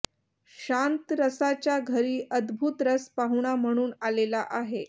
शांत रसाच्या घरी अद्भुतरस पाहुणा म्हणून आलेला आहे